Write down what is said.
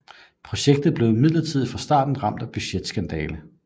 Projektet blev imidlertid fra starten ramt af budgetskandale